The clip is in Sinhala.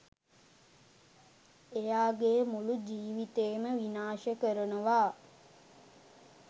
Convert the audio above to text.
එයාගේ මුළු ජීවිතේම විනාශ කරනවා